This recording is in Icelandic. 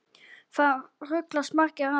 Það ruglast margir á þessu.